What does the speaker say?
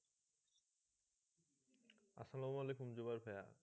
জুবাল সহ